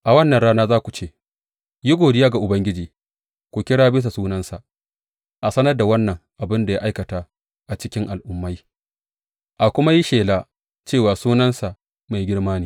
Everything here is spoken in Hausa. A wannan rana za ku ce, Yi godiya ga Ubangiji, ku kira bisa sunansa; a sanar da wannan abin da ya aikata a cikin al’ummai, a kuma yi shela cewa sunansa mai girma ne.